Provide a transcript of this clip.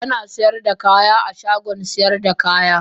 Ana sayar da kaya a shagon sayar da kaya.